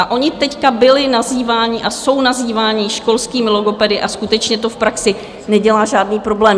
A oni teď byli nazýváni a jsou nazýváni školskými logopedy a skutečně to v praxi nedělá žádný problém.